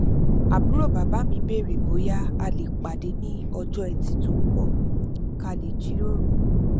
àbúrò bàbá mi béèrè bóyá a lè pàdé ní ọjọ ẹtì tó ń bọ kí a lè jiròrò